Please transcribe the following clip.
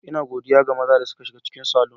Ina godiya ga maza da suka shiga cikin salon.